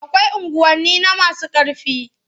Akwai unguwanni na masu ƙarfi.